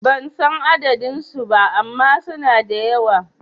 Ban san adadin su ba ama suna da yawa